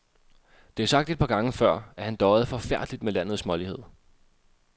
Det er sagt et par gange før, at han døjede forfærdeligt med landets smålighed.